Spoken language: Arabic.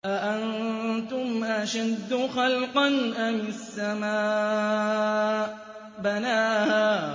أَأَنتُمْ أَشَدُّ خَلْقًا أَمِ السَّمَاءُ ۚ بَنَاهَا